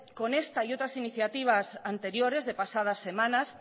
con esta y otras iniciativas anteriores de pasadas semanas